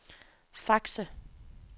Fakse